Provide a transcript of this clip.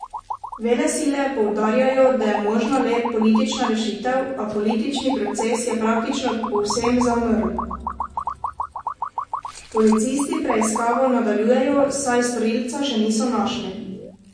Velesile poudarjajo, da je možna le politična rešitev, a politični proces je praktično povsem zamrl.